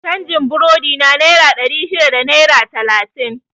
Canjin burodina naira ɗari shida da naira talatin